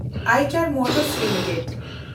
ᱮᱭᱪᱮᱱᱰ motors limited